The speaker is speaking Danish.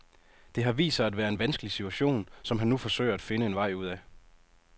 Det har vist sig at være en vanskelig situation, som han nu forsøger at finde en vej ud af.